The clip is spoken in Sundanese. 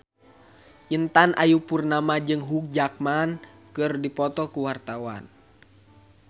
Intan Ayu Purnama jeung Hugh Jackman keur dipoto ku wartawan